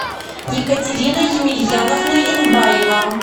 екатерина емельяновна янбаева